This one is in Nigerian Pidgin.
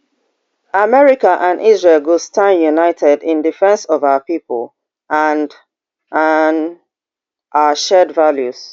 america and israel go stand united in defence of our pipo and and our shared values